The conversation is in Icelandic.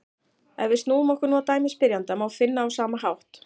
Ef við snúum okkur nú að dæmi spyrjanda má finna á sama hátt: